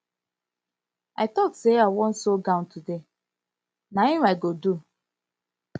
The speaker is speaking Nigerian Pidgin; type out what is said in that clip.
i talk say i wan sew gown today na im i go do